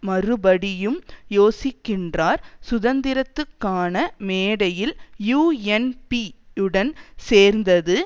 மறுபடியும் யோசிக்கின்றார் சுதந்திரத்துக்கான மேடையில் யூஎன்பி உடன் சேர்ந்தது